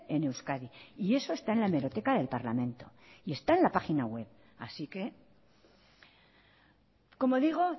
en euskadi y eso está en la hemeroteca del parlamento y está en la página web así que como digo